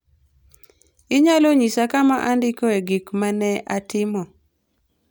Inyalo nyisa kama andikoe gik ma ne atimo?